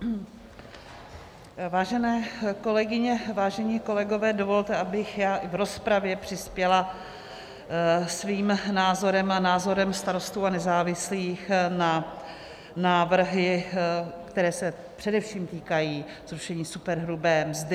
Vážené kolegyně, vážení kolegové, dovolte, abych v rozpravě přispěla svým názorem a názorem Starostů a nezávislých na návrhy, které se především týkají zrušení superhrubé mzdy.